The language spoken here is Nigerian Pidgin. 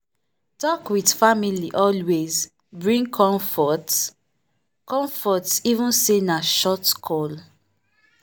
talk with family always bring comfort comfort even say na short call.